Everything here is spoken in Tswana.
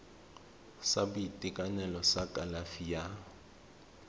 sa boitekanelo sa kalafi ya